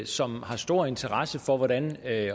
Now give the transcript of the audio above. som har stor interesse for hvordan